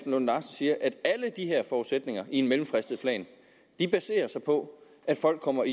lunde larsen siger at alle de her forudsætninger i en mellemfristet plan baserer sig på at folk kommer